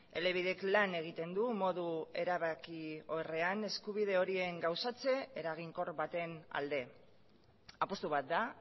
elebidek lan egiten du modu erabakiorrean eskubide horien gauzatze eraginkor baten alde apustu bat da